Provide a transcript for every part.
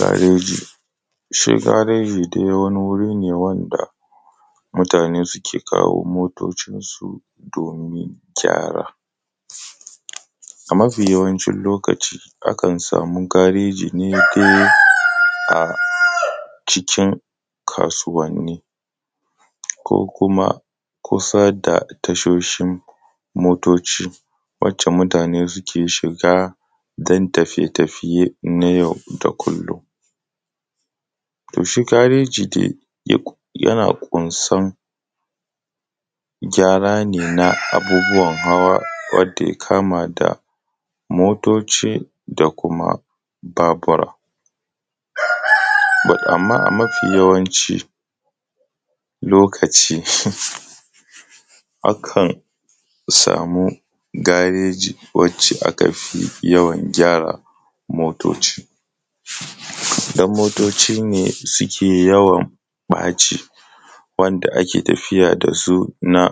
Gareji shi dai gareji wani wuri ne wanda mutane suke kawo motocinsu domin gyara. A mafi yawancin lokaci akan sami gareji ne a cikin kasuwanni ko kuma kusa da tashoshin motoci wacce mutane suke shiga don tafiye-tafiye na yau da kullon. To, shi gareji dai yana ƙunsan gyara ne na abubuwan hawa wanda ya kama da motoci da kuma babura so amma, a mafi yawancin lokaci akan samu gareji wanda aka fi yawan gyaran motoci don motoci ne suke yawan ɓaci wanda ake tafiya da su na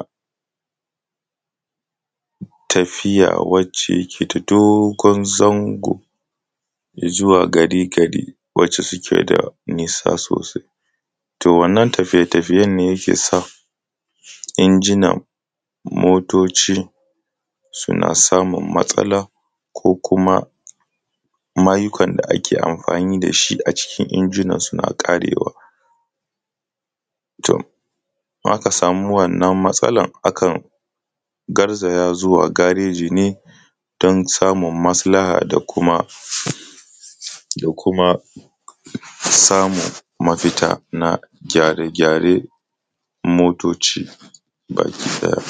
tafiya a kan titi na dogon zango zuwa gari-gari wanda suke da nisa sosai. To, wannan tafiye-tafiyen ne inginan motoci suna samun matsala ko kuma mayukan da ake amfani da shi cikin inginan suna ƙarewa. To, in aka sama wannan matsalan to ka garzaya zuwa gareji ne don samun maslaha da kuma samun mafita na gyare-gyaren motoci bakiɗaya.